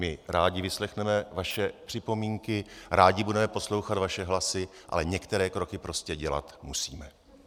My rádi vyslechneme vaše připomínky, rádi budeme poslouchat vaše hlasy, ale některé kroky prostě dělat musíme.